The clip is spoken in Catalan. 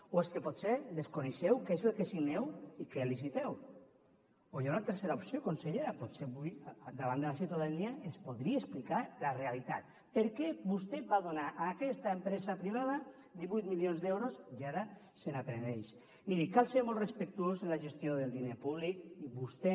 o és que potser desconeixeu què és el que signeu i què liciteu o hi ha una tercera opció consellera potser avui davant de la ciutadania ens podria explicar la realitat per què vostè va donar a aquesta empresa privada divuit milions d’euros i ara se’n penedeix miri cal ser molt respectuós en la gestió del diner públic i vostè